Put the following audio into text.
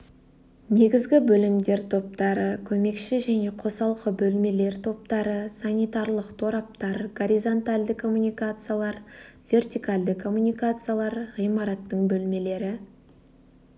негізгі бөлімдер топтары көмекші және қосалқы бөлмелер топтары санитарлық тораптар горизонтальді коммуникациялар вертикальді коммуникациялар ғимараттың бөлмелері